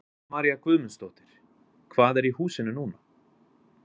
Helga María Guðmundsdóttir: Hvað er í húsinu núna?